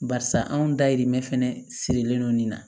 Barisa anw dayirimɛ fɛnɛ sirilen don nin na